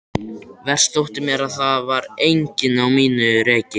Verst þótti mér að það var enginn á mínu reki.